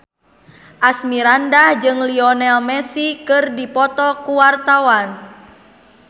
Asmirandah jeung Lionel Messi keur dipoto ku wartawan